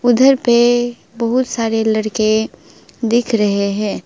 उधर पे बहुत सारे लड़के दिख रहे हैं।